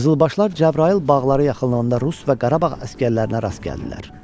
Qızılbaşlar Cəbrayıl bağları yaxınlığında rus və Qarabağ əsgərlərinə rast gəldilər.